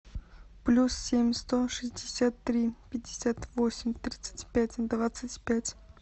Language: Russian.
плюс семь сто шестьдесят три пятьдесят восемь тридцать пять двадцать пять